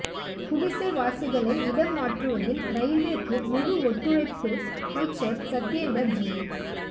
குடிசைவாசிகளை இடம் மாற்றுவதில் ரயில்வேக்கு முழு ஒத்துழைப்பு அமைச்சா் சத்யேந்தா் ஜெயின்